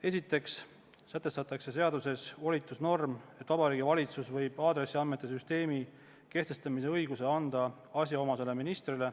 Esiteks sätestatakse seaduses volitusnorm, mille alusel Vabariigi Valitsus võib aadressiandmete süsteemi kehtestamise õiguse anda asjaomasele ministrile.